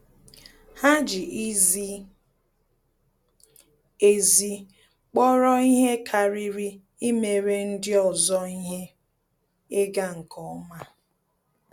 Há jì izi ezi kpọ́rọ́ ihe kàrị́rị́ íméré ndị ọzọ ihe ịga nke ọma.